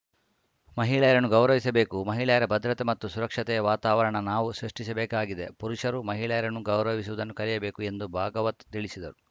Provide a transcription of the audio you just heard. ಮಹಿಳೆಯರನ್ನು ಗೌರವಿಸಬೇಕು ಮಹಿಳೆಯರ ಭದ್ರತೆ ಮತ್ತು ಸುರಕ್ಷತೆಯ ವಾತಾವರಣ ನಾವು ಸೃಷ್ಟಿಸಬೇಕಾಗಿದೆ ಪುರುಷರು ಮಹಿಳೆಯರನ್ನು ಗೌರವಿಸುವುದನ್ನು ಕಲಿಯಬೇಕು ಎಂದು ಭಾಗವತ್‌ ತಿಳಿಸಿದರು